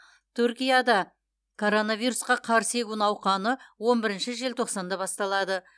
түркияда коронавирусқа қарсы егу науқаны он бірінші желтоқсанда басталады